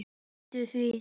Gleymdu því!